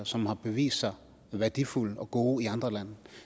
som har vist sig værdifulde og gode i andre lande